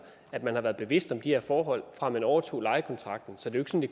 at man har været bevidst om de her forhold fra man overtog lejekontrakten så det